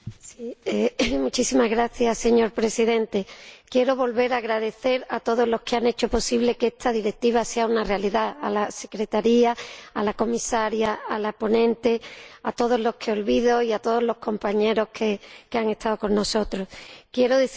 Señor Presidente, quiero volver a dar las gracias a todos los que han hecho posible que esta Directiva sea una realidad a la secretaría, a la Comisaria, a la ponente, a todos los que olvido y a todos los compañeros que han estado con nosotros. Quiero decir a las víctimas, a todas,